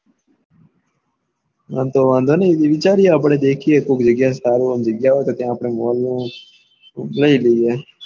આમ તો વાંધો ની વિચારીએ આપડે દેખિયે કોક જગ્યા સારી આ ગ્યા હોય તો ત્યાં આપડે mall બનાવી દઈએ.